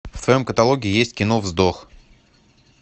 в твоем каталоге есть кино вздох